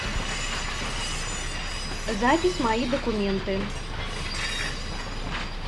запись мои документы